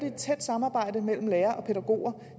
et tæt samarbejde mellem lærere og pædagoger